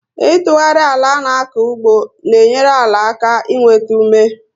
Itughari àlà ana-aku ugbo n'enyere àlà aka i nwétá ume